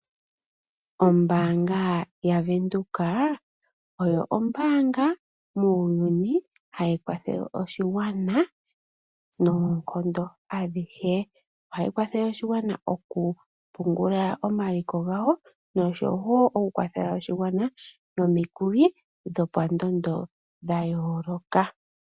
Oombaanga yaVenduka oyo ombaanga muuyuni hayi kwathele oshigwana noonkondo adhihe. Ohayi kwathele oshigwana oku pungula omaliko gawo noshowo oku kwathela oshigwana nomikuli dho pandondo dha yooloka.